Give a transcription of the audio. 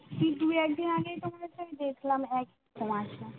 ঠিক দুই একদিন আগেইতো মনে হয় দেখলাম এক